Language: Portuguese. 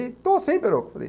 Estou sim, Perocco. Eu falei